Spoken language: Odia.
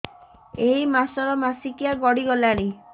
ଏଇ ମାସ ର ମାସିକିଆ ଗଡି ଗଲାଣି